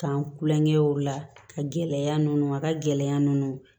K'an kulonkɛw la ka gɛlɛya ninnu a ka gɛlɛya ninnu